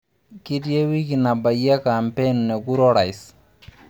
Kitii eweiki nabayie e kampeen e kura o rais.